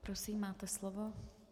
Prosím, máte slovo.